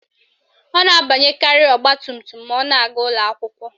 Ọ na-abanyekarị ọgbatumtum ma ọ na-aga ụlọakwụkwọ